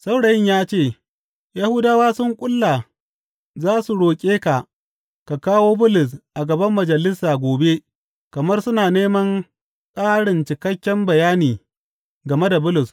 Saurayin ya ce, Yahudawa sun ƙulla za su roƙe ka ka kawo Bulus a gaban Majalisa gobe kamar suna neman ƙarin cikakken bayani game da Bulus.